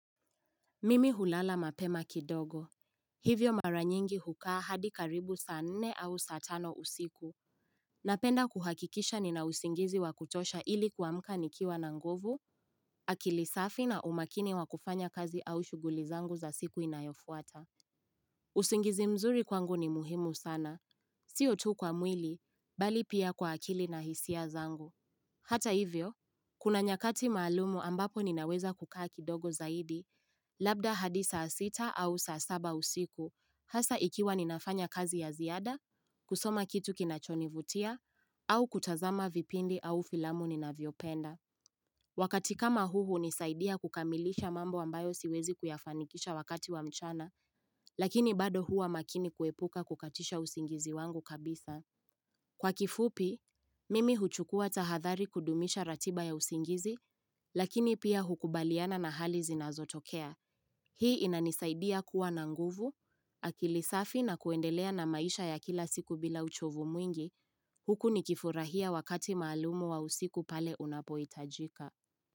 Mimi hulala mapema kidogo. Hivyo maranyingi hukaa hadi karibu saa nne au saa tano usiku. Napenda kuhakikisha ninausingizi wakutosha ili kwa mka nikiwa na nguvu, akilisafi na umakini wakufanya kazi au shuguli zangu za siku inayofuata. Usingizi mzuri kwangu ni muhimu sana. Siyo tuu kwa mwili, bali pia kwa akili na hisia zangu. Hata hivyo, kuna nyakati maalumu ambapo ninaweza kukaa kidogo zaidi, Labda hadi saa sita au saa saba usiku, hasa ikiwa ninafanya kazi ya ziada, kusoma kitu kinachonivutia, au kutazama vipindi au filamu nina viopenda. Wakati kama huu nisaidia kukamilisha mambo ambayo siwezi kuyafanikisha wakati wa mchana, lakini bado hua makini kuepuka kukatisha usingizi wangu kabisa. Kwa kifupi, mimi huchukua tahathari kudumisha ratiba ya usingizi, lakini pia hukubaliana na hali zinazotokea. Hii inanisaidia kuwa na nguvu, akilisafi na kuendelea na maisha ya kila siku bila uchovu mwingi, huku nikifurahia wakati maalumu wa usiku pale unapoi tajika.